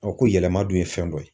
ko yɛlɛma dun ye fɛn dɔ ye